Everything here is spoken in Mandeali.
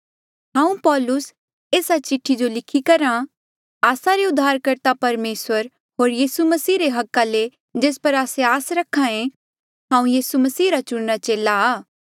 हांऊँ पौलुस एस्सा चिठ्ठी जो लिख्या करहा आस्सा रे उद्धारकर्ता परमेसर होर यीसू मसीह रे हका ले जेस पर आस्से आस रखे हांऊँ यीसू मसीह रा चुणिरा चेला आ